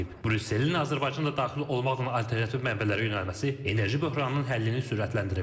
Brüsselin Azərbaycanla daxil olmaqla alternativ mənbələrə yönəlməsi enerji böhranının həllini sürətləndirib.